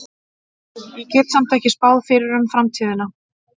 Ég get samt ekki spáð fyrir um framtíðina.